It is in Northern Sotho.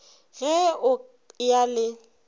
ge o ka ya le